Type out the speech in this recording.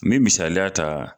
N bɛ misaliya ta